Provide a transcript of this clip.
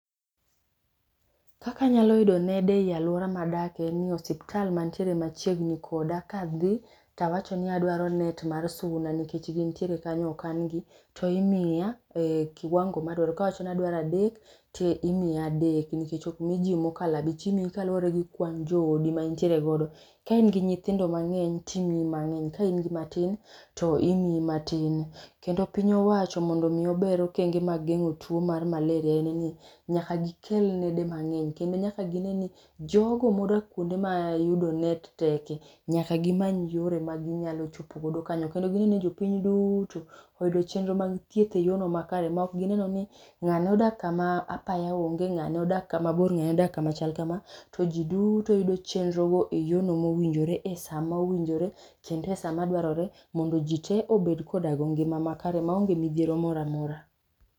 Kaka anyalo yudo nede ei aluora madake en ni osiptal machiegni koda kadhi tawacho ni adwaro net mar suna nikech gintiere kanyo okan gi to imiya e kiwango madwaro. Kawacho ni adwaro adek to imiya adek ok miji mokala bich. Imiyi kaluwore gi kwan joodi ma intiere godo ka in gi nyithindo mang'eny timiyo mangeny ka in gimatin to imiyi matin. Kendo piny owacho mondo mii ober okenge mar geng'o tuo mar malaria en ni nyaka gikel nede mang'eny kendo nyaka gine ni jogo modak kuonde mayudo net teke. Nyaka gimany yore ma ginyalo chopo godo kanyo kendo gineni jopiny duto oyudo chenro mag thieth e yor no makare maonge ni ngane odak kama apaya onge ng'ane odak kamabor ng'ane odak kama chal kama to jii duto yudo chenro e yoo mowinjore, e saa mowinjore kendo esaa madwarore mondo, jii tee obed kod ngima makare maonge midhiero moramora.